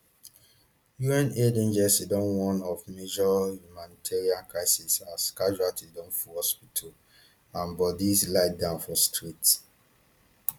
un aid agencies don warn of major humanitarian crisis as casualties don full hospitals and bodies lie down for streets